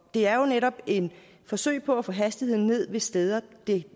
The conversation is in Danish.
det er jo netop et forsøg på at få hastigheden ned ved steder